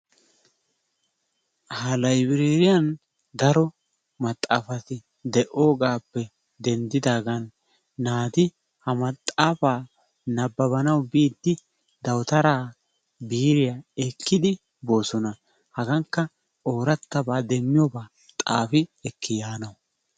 Ha laybireriyan daro maxaafaay deogappe denddidagan naati ha maxaafaa nabbabbanawu biidi dawuttaraa biiriyaa ekkidi boosona. Hagaankka oorattaba demmiyoba xaafi ekkiyaanawu